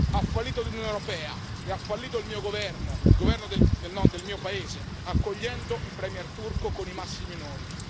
Ha fallito l'Unione europea e ha fallito il mio governo, il governo del mio paese, accogliendo il Premier turco con i massimi onori.